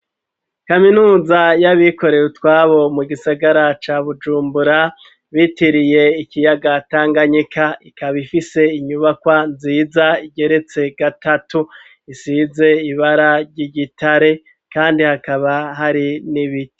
Kaminuza y'abikoreye utwabo ,mu gisagara ca bujumbura, bitiriye ikiyaga tanganyika ,ikaba ifise inyubakwa nziza igeretse gatatu ,isize ibara ry'igitare, kandi hakaba hari n'ibiti.